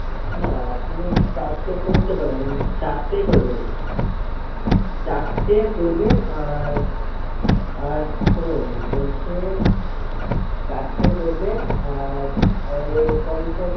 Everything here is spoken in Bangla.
না আপনি চারটে করতে পারেন। চারটেই করবেন চারটে করবেন আর আর শুনেন বলছি চারটে করবেন আর